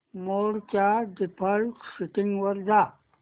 मोड च्या default settings वर जा